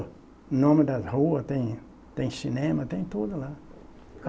Nome das ruas, tem tem cinema, tem tudo lá.